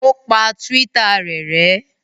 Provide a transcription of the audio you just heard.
O pa Twitter rẹ̀ rẹ́?